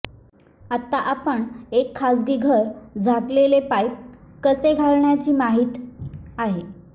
आता आपण एक खाजगी घर झाकलेले पाईप कसे घालण्याची माहीत आहे